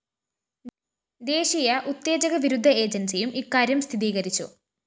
ദേശീയ ഉത്തേജക വിരുദ്ധ ഏജന്‍സിയും ഇക്കാര്യം സ്ഥിതീകരിച്ചു